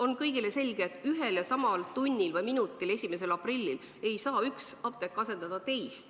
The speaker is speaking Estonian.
on kõigile selge, et kohe 1. aprillil ühel ja samal tunnil või minutil ei hakka üks apteek asendama teist.